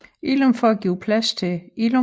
Illum for at give plads til Illum